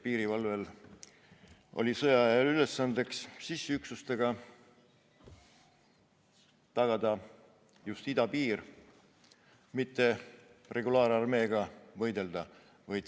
Piirivalvel oli sõjaaja ülesanne sissiüksustena idapiiril tegutseda, mitte regulaararmeega võidelda.